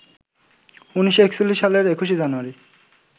১৯৪১ সালের ২১ জানুয়ারি